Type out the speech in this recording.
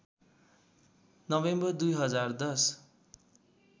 November २०१०